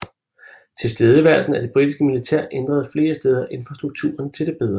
Tilstedeværelsen af det britiske militær ændrede flere steder infrastrukturen til det bedre